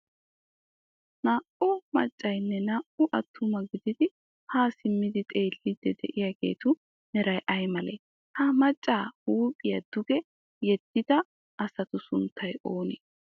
naa"u maccayinne naa"u attuma gididi haa simmidi xeelliiddi diyaageetu meray ay malee? ha macca huuphiyaa duge yeddida asatu sunttay oonee?